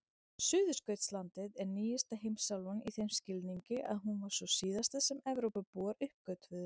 Suðurskautslandið er nýjasta heimsálfan í þeim skilningi að hún var sú síðasta sem Evrópubúar uppgötvuðu.